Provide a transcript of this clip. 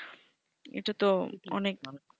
এটাতো অনেক